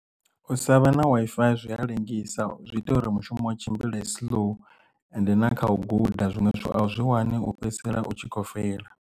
U sa vha na Wi-Fi zwi a lengisa zwi ita uri mushumo u tshimbile slow and na kha u guda zwinwe zwithu a u zwi wani u fhedzisela u tshi kho feila.